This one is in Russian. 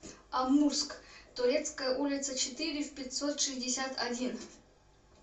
амурск турецкая улица четыре в пятьсот шестьдесят один